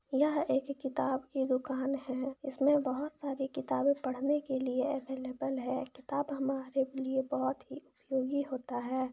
यह एक किताब की दुकान है इस में बहुत सारी किताबे पढने के लिए है अवेलेबल है किताब हमारे लिए बहुत ही उपयोगी होता है।